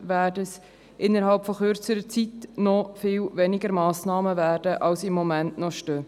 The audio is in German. Dementsprechend werden es innerhalb von kurzer Zeit noch weniger Massnahmen sein, als es im Moment noch sind.